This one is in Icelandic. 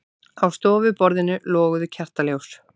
Á stofuborðinu loguðu kertaljós.